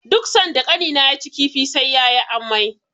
Duk sanda Ƙanina yaci kifi, sai ya yi amai.